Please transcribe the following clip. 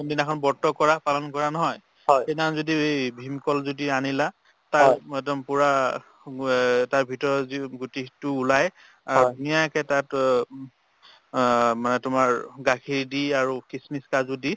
কোনদিনাখন ব্ৰত কৰা পালন কৰা নহয় সেইদিনাখন যদি এই ভীমকল যদি আনিলা তাৰ একদম পুৰা অ তাৰভিতৰৰ যি গুটি সেইটো ওলাই অ ধুনীয়াকে তাত অ অ মানে তোমাৰ গাখীৰ দি আৰু খিচমিচ কাজু দি